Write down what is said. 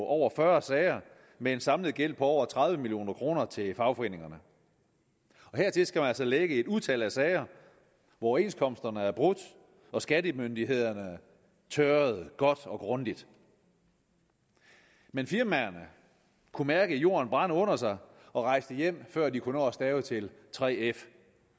over fyrre sager med en samlet gæld på over tredive million kroner til fagforeningerne hertil skal man altså lægge et utal af sager overenskomsterne er brudt og skattemyndighederne tørret godt og grundigt men firmaerne kunne mærke jorden brænde under sig og rejste hjem før de kunne nå at stave til 3f